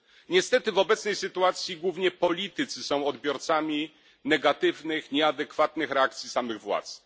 Niestety w obecnej sytuacji głównie politycy są odbiorcami negatywnych, nieadekwatnych reakcji samych władz.